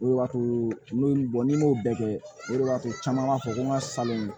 O de b'a to n'o ye y'o bɛɛ kɛ o de b'a to caman b'a fɔ ko n ka salon